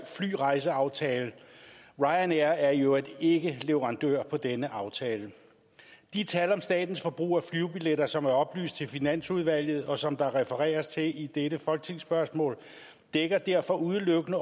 flyrejseaftale ryanair er i øvrigt ikke leverandør på denne aftale de tal om statens forbrug af flybilletter som er oplyst til finansudvalget og som der refereres til i dette folketingsspørgsmål dækker derfor udelukkende